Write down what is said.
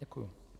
Děkuji.